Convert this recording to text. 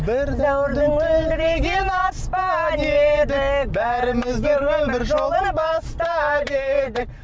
бір дәуірдің мөлдіреген аспаны едік бәрімізде өмір жолын бастап едік